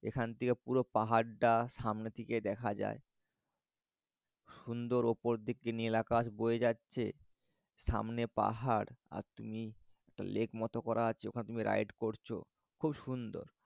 ঙ্গেখান থেকে পুরো পাহাড়টা পুরো সামনে থেকে দেখা যায়। সুন্দর ওপর দিকে নীলাকাশ হয়ে যাচ্ছে। সামনে পাহাড় আর তুমি লেক মত করা আছে ওখানে তুমি ride করছ। খুব সুন্দর।